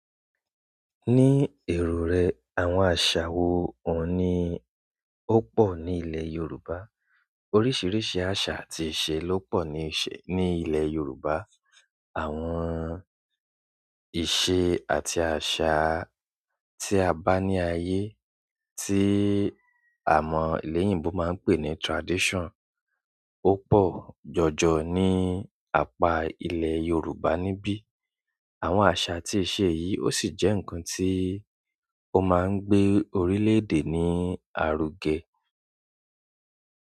Ní èrò rẹ̀, àwọn àṣà wo òun ní ó pọ̀ ní ilẹ̀ Yorùbá? Oríṣiríṣi asa àti iṣẹ́ lo po ni ile Yoruba. Àwọn ìṣe àti àṣà tí a bá ní ayé, tí àwọn ilẹ̀yinbo máa ń pè ní tradition, ó pọ̀ jọjọ ní apá ilẹ̀ Yorùbá níbí. Àwọn aṣa àti ìṣe yìí ó sì jẹ́ ǹkan tí ó máa ń gbé orílẹ̀-èdè ní aruge.